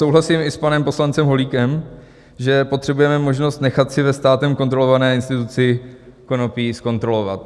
Souhlasím i s panem poslancem Holíkem, že potřebujeme možnost nechat si ve státem kontrolované instituci konopí zkontrolovat.